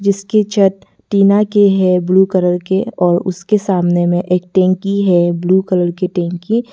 इसकी छत टीना की है ब्लू कलर की और उसके सामने में टंकी है ब्लू कलर की टंकी।